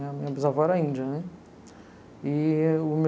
Minha, minha bisavó era índia, né? E